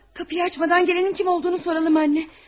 Qapını açmadan gələnin kim olduğunu soruşaq ana.